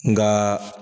Nga